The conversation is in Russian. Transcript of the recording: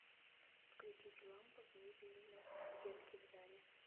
включить лампа в мебельной стенке в зале